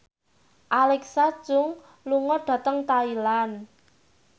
Alexa Chung lunga dhateng Thailand